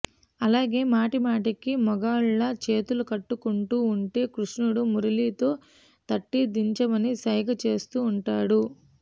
అలాగే మాటిమాటికీ మగాళ్లలా చేతులు కట్టుకుంటూ వుంటే కృష్ణుడు మురళితో తట్టి దించమని సైగ చేస్తూ ఉంటాడు